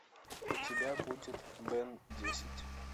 у тебя будет бен десять